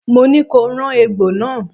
Mo ní ko rán egbò náà!